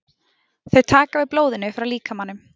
Þau taka við blóðinu frá líkamanum.